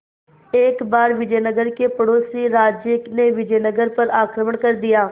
एक बार विजयनगर के पड़ोसी राज्य ने विजयनगर पर आक्रमण कर दिया